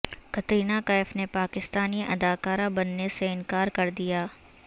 کترینہ کیف نے پاکستانی اداکارہ بننے سے انکار کردیا